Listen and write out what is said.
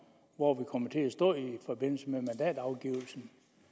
hvor vi kommer til at stå i forbindelse med mandatafgivelsen